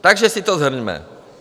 Takže si to shrňme.